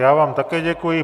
Já vám také děkuji.